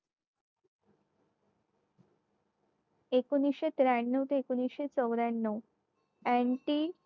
एकोणविशे त्र्यानव ते एकोणविशे चौऱ्यांनव ninety